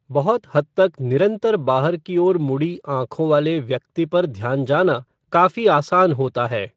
बहुत हद तक निरंतर बाहर की ओर मुड़ी आँखों वाले व्यक्ति पर ध्यान जाना काफ़ी आसान होता है।